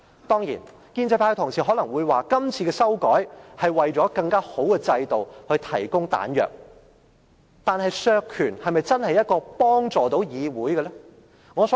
當然，建制派的同事可能會說，今次作出修改，就是為了令制度更為完善而提供彈藥，但削權是否真的對議會有所幫助呢？